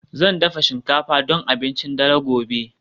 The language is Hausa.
Zan dafa shinkafa don abincin dare gobe